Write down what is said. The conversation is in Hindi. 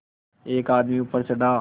एक आदमी ऊपर चढ़ा